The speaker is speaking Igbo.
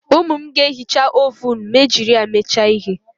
Ụmụ m ga-ehicha ovunu ma e jiri ya mecha ihe